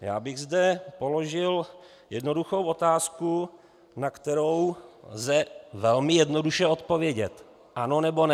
Já bych zde položil jednoduchou otázku, na kterou lze velmi jednoduše odpovědět: Ano, nebo ne.